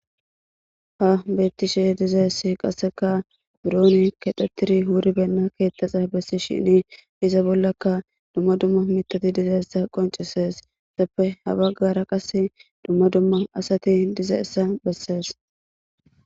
Ta xelashe dizayisi burro kexeti wuribena ketha gidishini iza bollaka duma duma ettape ha baggara qassi duma duma assati eqidayissa bessesi